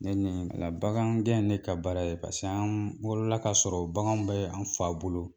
bagangɛ ye ne ka baara ye paseke an wolola ka sɔrɔ baganw bɛ an fa bolo.